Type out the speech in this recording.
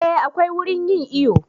Eh akwai wurin yin iyo